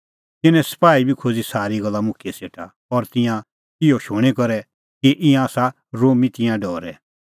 तिन्नैं सपाही बी खोज़ी सारी गल्ला मुखियै सेटा और तिंयां इहअ शूणीं करै कि ईंयां आसा रोमी तिंयां डरै